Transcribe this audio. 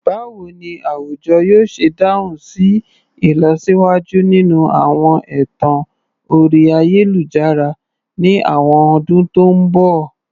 Báwo ni àwùjọ yóò ṣe dáhùn sí ìlọsíwájú nínú àwọn ẹ̀tàn orí ayélujára ní àwọn ọdún tó ń bọ̀?